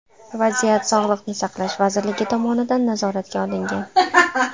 Vaziyat Sog‘liqni saqlash vazirligi tomonidan nazoratga olingan.